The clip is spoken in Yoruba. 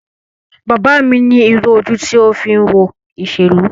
Bàbá mi ní irú ojú ti o fi ń wo ìṣèlú.